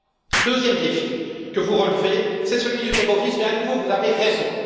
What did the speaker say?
Le deuxième défi que vous relevez est celui du terrorisme et, à nouveau, vous avez raison.